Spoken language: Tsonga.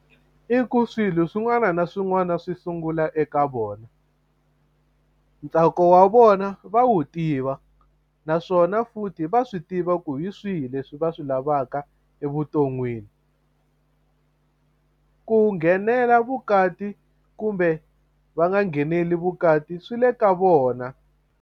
I ku swilo swin'wana na swin'wana swi sungula eka vona ntsako wa vona va wu tiva naswona futhi va swi tiva ku hi swihi leswi swi va swi lavaka evuton'wini ku nghenela vukati kumbe va nga ngheneleli vukati swi le ka vona.